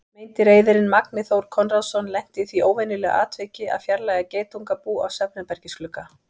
Meindýraeyðirinn Magni Þór Konráðsson lenti í því óvenjulega atviki að fjarlægja geitungabú af svefnherbergisglugga.